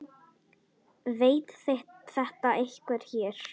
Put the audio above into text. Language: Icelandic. Veit þetta einhver hér?